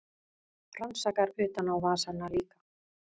Rannsakar utanávasana líka.